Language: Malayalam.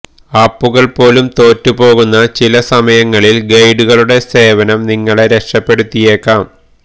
ആപ്പുകള് പോലും തോറ്റു പോകുന്ന ചില സമയങ്ങളില് ഗൈഡുകളുടെ സേവനം നിങ്ങളെ രക്ഷപ്പെടുത്തിയേക്കാം